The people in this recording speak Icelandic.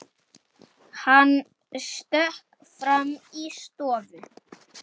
Hann stökk fram í stofu.